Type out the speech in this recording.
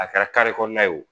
A kɛra kare kɔnɔna ye wo